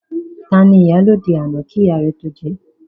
Tani ìyálóde àná kí ìyá rẹ tó jẹ?